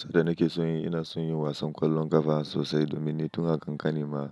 Sanda nake son yi, ina son yin wasan ƙwallon ƙafa sosai domin ni tun a kankani ma